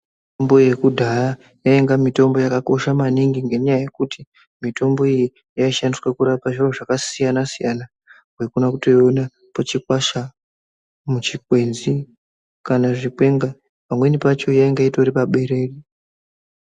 Mbo yekudhaya yainga mutombo yakakosha maningi ngenyaya yekuti mitombo iyi yaishandiswa kurapa zviro zvakasiyana siyana waikone kutoina Pachikwasha muchikwenzi kana zvikwenga pamweni pacho yanga itori paberere.